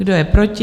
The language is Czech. Kdo je proti?